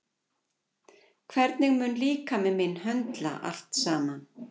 Hvernig mun líkami minn höndla allt saman?